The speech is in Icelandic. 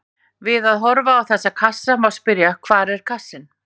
Við að horfa á þessa kassa má spyrja: hvar er kassinn?